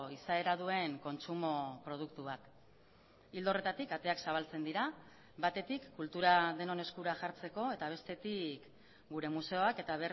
izaera duen kontsumo produktu bat ildo horretatik ateak zabaltzen dira batetik kultura denon eskura jartzeko eta bestetik gure museoak eta